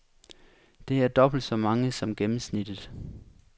Det er dobbelt så mange som gennemsnittet.